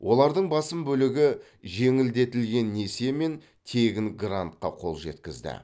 олардың басым бөлігі жеңілдетілген несие мен тегін грантқа қол жеткізді